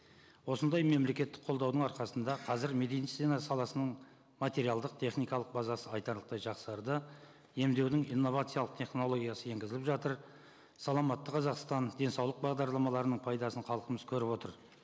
осындай мемлекеттік қолдаудың арқасында қазір медицина саласының материалдық техникалық базасы айтарлықтай жақсарды емдеудің инновациялық технологиясы енгізіліп жатыр саламатты қазақстан денсаулық бағдарламаларының пайдасын халқымыз көріп отыр